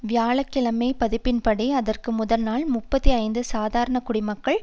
வியாழ கிழமை பதிப்பின்படி அதற்கு முதல் நாள் முப்பத்தி ஐந்து சாதாரண குடிமக்கள்